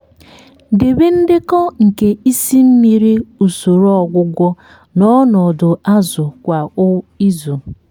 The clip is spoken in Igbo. debe ndekọ nke isi mmiri usoro ọgwụgwọ na ọnọdụ azụ kwa izu.